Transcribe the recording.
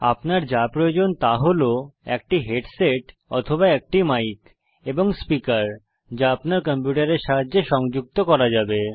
আপনার যা দরকার তা হল একটি হেডসেট অথবা একটি মাইক এবং স্পীকার যা আপনার কম্পিউটারের সাথে সংযুক্ত করা যাবে